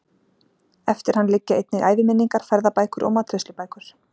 Eftir hann liggja einnig æviminningar, ferðabækur og matreiðslubækur.